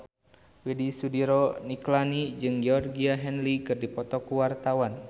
Widy Soediro Nichlany jeung Georgie Henley keur dipoto ku wartawan